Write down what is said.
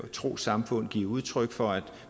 trossamfund give udtryk for at